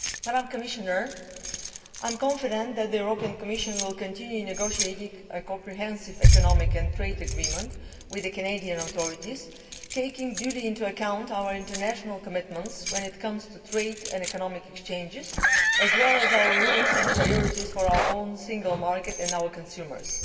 I am confident that the Commission will continue negotiating a comprehensive economic and trade agreement with the Canadian authorities, taking due account of our international commitments when it comes to trade and economic exchanges, as well as our rules and priorities for our own single market and our consumers.